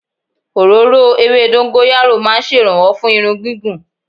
Òróró ewé dọ́góráyó ma ń ṣèrànwọ́ fún irun gígùn.